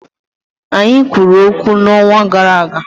Anyị kwuru okwu n'ọnwa gara aga